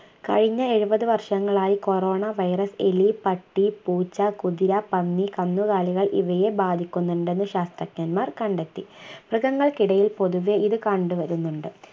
കഴിഞ്ഞ എഴുപതു വർഷങ്ങളായി coronavirus എലി പട്ടി പൂച്ച കുതിര പന്നി കന്നുകാലികൾ ഇവയെ ബാധിക്കുന്നുണ്ടെന്ന് ശാസ്ത്രജ്ഞന്മാർ കണ്ടെത്തി മൃഗങ്ങൾക്കിടയിൽ പൊതുവേ ഇത് കണ്ടുവരുന്നുണ്ട്